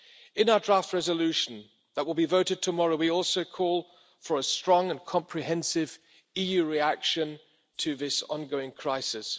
In our draft resolution that will be voted tomorrow, we also call for a strong and comprehensive EU reaction to this ongoing crisis.